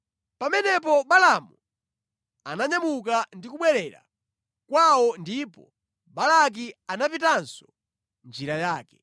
Pamenepo Balaamu ananyamuka ndi kubwerera kwawo ndipo Balaki anapitanso njira yake.